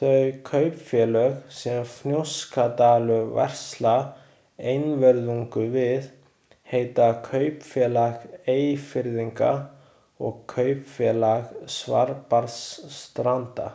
Þau kaupfélög, sem Fnjóskadalur verslar einvörðungu við, heita Kaupfélag Eyfirðinga og Kaupfélag Svalbarðsstrandar.